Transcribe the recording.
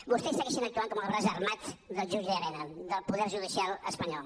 vostès segueixin actuant com el braç armat del jutge llarena del poder judicial espanyol